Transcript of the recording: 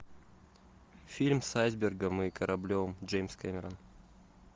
фильм с айсбергом и кораблем джеймс кэмерон